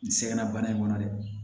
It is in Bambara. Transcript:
N sɛgɛnna bana in kɔnɔ dɛ